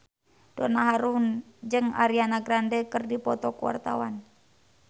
Donna Harun jeung Ariana Grande keur dipoto ku wartawan